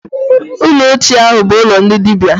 Ụlọ ochie ahụ bụ ụlọ ndị dibịa.